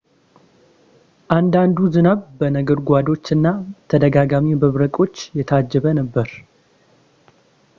አንዳንዱ ዝናብ በነጎድጓዶች እና ተደጋጋሚ መብረቆች የታጀበ ነበር